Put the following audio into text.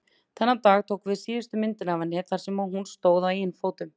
Þennan dag tókum við síðustu myndina af henni þar sem hún stóð á eigin fótum.